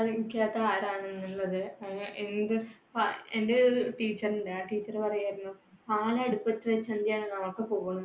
ഉപയോഗിക്കാത്തതാരാണിന്നുള്ളത് എന്‍ടെ ആഹ് എന്‍ടെ ഒരു teacher ഉണ്ട്. ആ teacher പറയുമായിരുന്നു. പാൽ അടുപ്പത്ത് വെച്ചാ